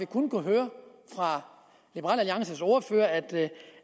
kun kunnet høre fra liberal alliances ordfører at